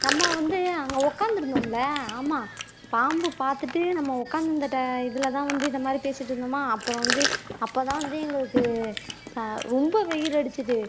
நம்ம வந்து அங்க உட்கார்ந்து இருந்தோம்ல ஆமா பாம்பு பார்த்துட்டு நம்ம உட்கார்ந்திருந்த இதுல தான் வந்து இந்த மாதிரி பேசிட்டு இருந்தமா அப்புறம் வந்து அப்பதான் வந்து எங்களுக்கு ரொம்ப வெயில் அடிச்சுது